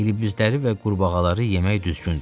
ilibizləri və qurbağaları yemək düzgündür.